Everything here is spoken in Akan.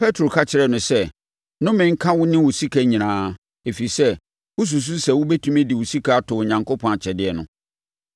Petro ka kyerɛɛ no sɛ, “Nnome nka wo ne wo sika nyinaa, ɛfiri sɛ, wosusu sɛ wobɛtumi de sika atɔ Onyankopɔn akyɛdeɛ no.